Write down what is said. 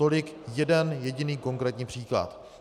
Tolik jeden jediný konkrétní příklad.